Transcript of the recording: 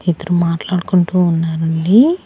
ఇద్దరు మాట్లాడుకుంటూ ఉన్నారండీ.